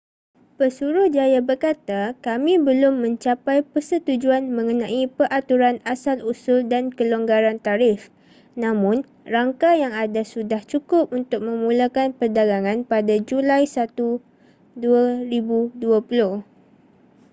pesuruhjaya berkata kami belum mencapai persetujuan mengenai peraturan asal-usul dan kelonggaran tarif namun rangka yang ada sudah cukup untuk memulakan perdagangan pada julai 1 2020